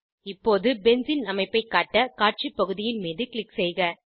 இப்போது பென்சீன் அமைப்பை காட்ட காட்சி பகுதியின் மீது க்ளிக் செய்க